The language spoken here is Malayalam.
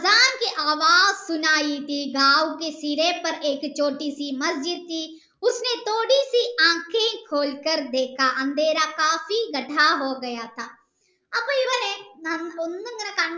അപ്പൊ ഇവന് ഒന്ന് ഇങ്ങനെ കണ്ണ്